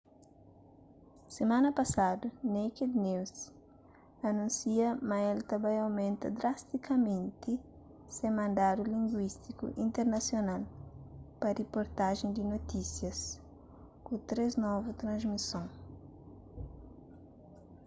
simana pasadu naked news anúnsia ma el ta ba aumenta drastikamenti se mandatu linguístiku internasional pa riportajen di notísias ku três novu transmison